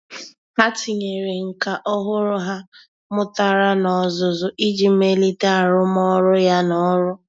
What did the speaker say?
Há tínyere nkà ọ́hụ́rụ́ ha mụ́tàrà n’ọ́zụ́zụ́ iji melite arụ́mọ́rụ́. ya n’ọ́rụ́.